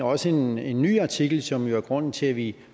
også en ny ny artikel som jo er grunden til at vi